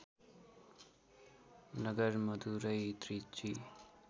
Nagar Madurai Trichy